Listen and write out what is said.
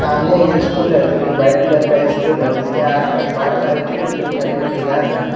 सामने एक स्कूल है जो कि वाइट कलर का स्कूल है उसके आसपास बहुत सारी छोटी छोटी हरी भरी घास है।